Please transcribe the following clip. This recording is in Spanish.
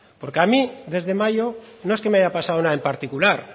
porque a mí desde mayo no es que me haya pasado nada en particular